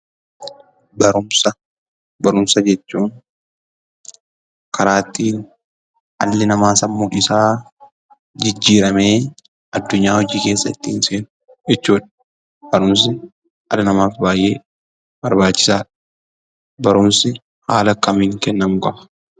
Barumsa. Barumsa jechuun karaa ittiin dhalli namaa sammuun isaa jijjiiramee addunyaa hojii keessa ittiin seenu jechuudha. Barumsi dhala namaaf baay'ee barbaachisa. Barumsi haala akkamiin kennamuu qaba?